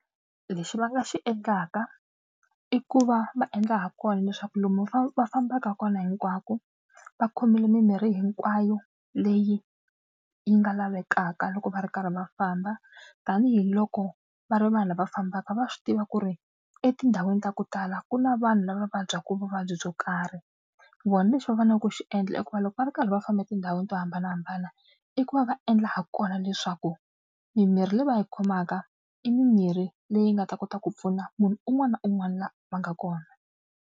Lexi va nga xi endlaka i ku va va endla ha kona leswaku lomu va fambaka kona hinkwako va khomile mimirhi hinkwayo leyi yi nga lavekaka loko va ri karhi va famba tanihiloko va ri vanhu lava fambaka va swi tiva ku ri etindhawini ta ku tala ku na vanhu lava vabyaka vuvabyi byo karhi. Vona lexi va faneleke ku xi endla i ku va loko va ri karhi va famba etindhawini to hambanahambana i ku va va endla ha kona leswaku mimirhi leyi va yi khomaka i mimirhi leyi nga ta kota ku pfuna munhu un'wana na un'wana la va nga kona.